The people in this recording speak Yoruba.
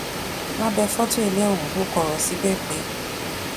lábẹ fọtò ilé ọhún ò kọ ọrọ síbẹ pé